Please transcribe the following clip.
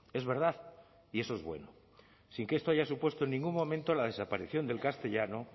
es verdad y eso es bueno sin que esto haya supuesto en ningún momento la desaparición del castellano